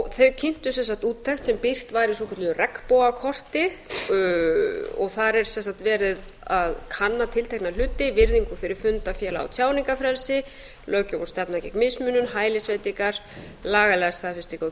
þeir kynntu sem sagt úttekt sem birt var í svokölluðu regnbogakorti og þar er sem sagt verið að kanna tiltekna hluti virðingu fyrir funda félaga og tjáningarfrelsi löggjöf og stefna gegn mismunun hælisveitingar lagalega staðfestingu á